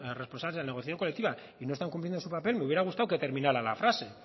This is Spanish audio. responsables de la negociación colectiva y no están cumpliendo su papel me hubiera gustado que terminara la frase